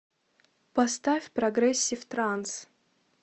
поставь прогрессив транс